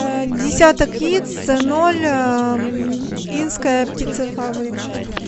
десяток яиц ноль инская птицефабрика